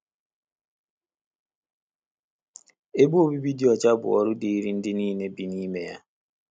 Ebe obibi dị ọcha bụ ọrụ dịịrị ndị nile bi n’ime ya